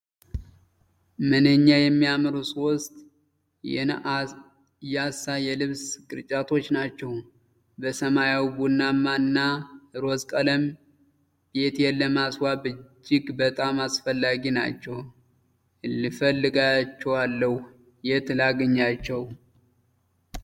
ምንኛ የሚያምሩ ሶስት የናያሳ የልብስ ቅርጫቶች ናቸው! በሰማያዊ፣ ቡናማ እና ሮዝ ቀለም! ቤቴን ለማስዋብ እጅግ በጣም አስፈላጊ ናቸው! እፈልጋቸዋለሁ የት ላግኛችው!